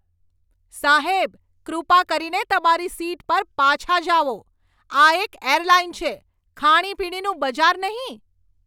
સાહેબ, કૃપા કરીને તમારી સીટ પર પાછા જાઓ. આ એક એરલાઇન છે, ખાણીપીણીનું બજાર નહીં!